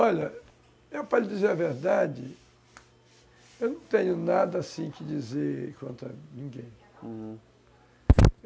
Olha, eu para lhe dizer a verdade, eu não tenho nada, assim, que dizer contra ninguém, hum